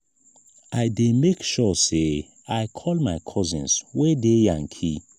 i dey make sure sey i call my cousins wey dey yankee.